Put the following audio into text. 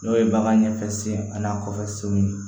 N'o ye bagan ɲɛfɛ sen ani kɔfɛ senw ye